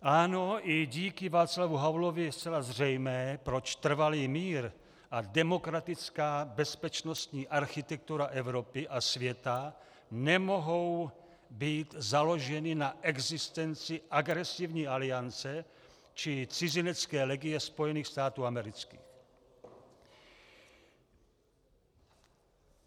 Ano, i díky Václavu Havlovi je zcela zřejmé, proč trvalý mír a demokratická bezpečnostní architektura Evropy a světa nemohou být založeny na existenci agresivní aliance či cizinecké legie Spojených států amerických.